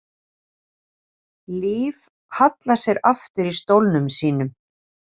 Líf hallar sér aftur í stólnum sínum.